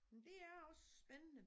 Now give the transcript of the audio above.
Men det er også spændende